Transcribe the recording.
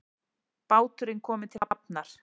Báturinn kominn til hafnar